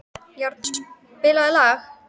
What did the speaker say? Jarl, spilaðu lag.